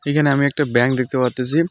এখানে আমি একটা ব্যাংক দেখতে পারতেসি .